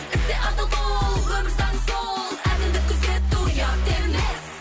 істе адал бол өмір заңы сол әділдік күзету ұят емес